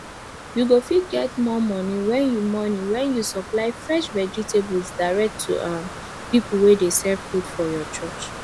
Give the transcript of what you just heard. you go fit get more money when you money when you supply fresh vegetables direct to um people wey dey sell food for your church